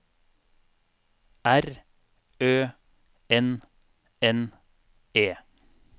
R Ø N N E